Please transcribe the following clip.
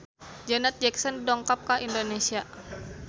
Janet Jackson dongkap ka Indonesia